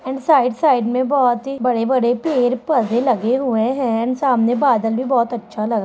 --and side side में बहुत ही बड़े-बड़े पेड़-पौधे लगे हुए हैं एंड सामने बादल भी बहुत अच्छा लग--